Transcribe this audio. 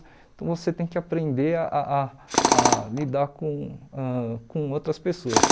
Então você tem que aprender a a a lidar com ãh com outras pessoas.